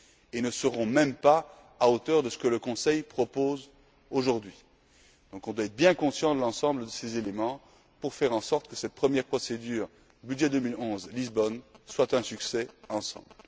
et ne seront même pas à hauteur de ce que le Conseil propose aujourd'hui. On doit donc être bien conscients de l'ensemble de ces éléments pour faire en sorte que cette première procédure budget 2011 Lisbonne soit un succès, que nous obtiendrons ensemble.